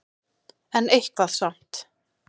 En eitthvað samt.